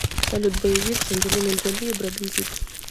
салют боевик с анджелиной джоли и бреддом питт